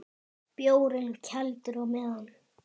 Bjórinn kældur á meðan.